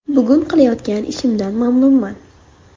Bugun qilayotgan ishimdan mamnunman.